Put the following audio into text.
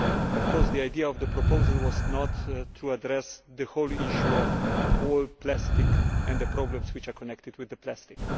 Of course the idea of the proposal was not to address the whole issue of all plastic and the problems which are connected with plastic